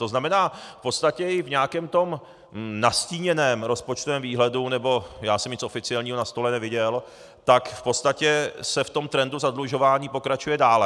To znamená, v podstatě i v nějakém tom nastíněném rozpočtovém výhledu - nebo já jsem nic oficiálního na stole neviděl - tak v podstatě se v tom trendu zadlužování pokračuje dále.